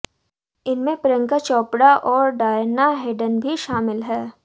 इनमें प्रियंका चोपड़ा और डायना हेडन भी शामिल हैं